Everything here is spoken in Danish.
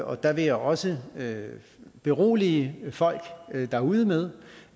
og der vil jeg også berolige folk derude med